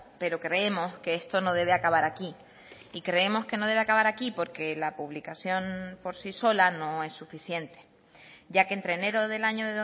pero creemos que esto no debe acabar aquí y creemos que no debe acabar aquí porque la publicación por sí sola no es suficiente ya que entre enero del año